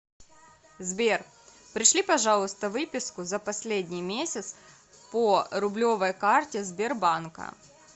сбер пришли пожалуйста выписку за последний месяц по рублевой карте сбербанка